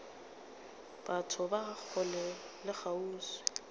batho ba kgole le kgauswi